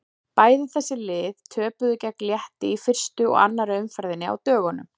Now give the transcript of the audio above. Bæði þessi lið töpuðu gegn Létti í fyrstu og annarri umferðinni á dögunum.